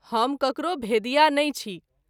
हम ककरो भेदिया नहिं छी।